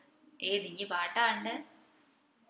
ഏത് ഇഞ് പാട്ടാ കണ്ടേ